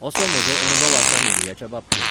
असो म्हजो अणभव आसा मिडियाच्या बाबतींत.